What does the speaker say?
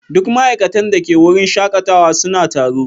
Duk ma'aikatan da ke wurin shakatawa suna taro.